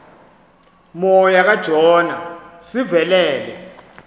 moya kajona sivelele